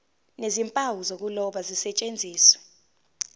nezimpawu zokuloba zisetshenziswe